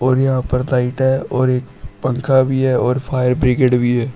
और यहां पर लाइट है और एक पंखा भी है और फायर ब्रिगेड भी है।